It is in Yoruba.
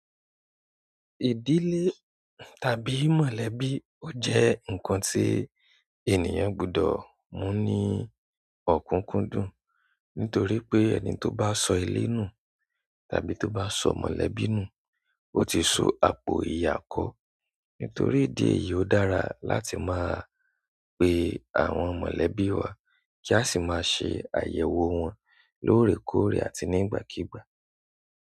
Ìdílé tàbí mọ̀lẹ́bí o je nkan ti ènìyàn gbudo mu ni okunkun dùn. Nítorí pé ẹni tó bá sọ ilé nù tàbí tó bá sọ mọ̀lẹ́bí nù ó ti so àpò ìyà kọ́. Nítorí idí ẹ̀yìí ó dára láti máa pe àwọn mọ̀lẹ́bí wá kí a sì máa ṣe àyẹ̀wò wọn lóòrèkóòrè àti nígbàkígbà.